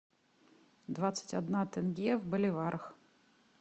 двадцать одна тенге в боливарах